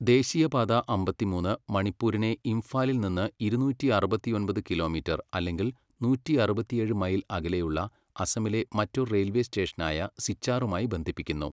ദേശീയപാത അമ്പത്തിമൂന്ന് മണിപ്പൂരിനെ ഇംഫാലിൽ നിന്ന് ഇരുന്നൂറ്റി അറുപത്തിയൊമ്പത് കിലോമീറ്റർ അല്ലെങ്കിൽ നൂറ്റിയറുപത്തിയേഴ് മൈൽ അകലെയുള്ള അസമിലെ മറ്റൊരു റെയിൽവേ സ്റ്റേഷനായ സിച്ചാറുമായി ബന്ധിപ്പിക്കുന്നു.